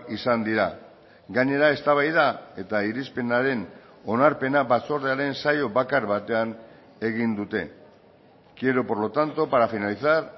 izan dira gainera eztabaida eta irizpenaren onarpena batzordearen saio bakar batean egin dute quiero por lo tanto para finalizar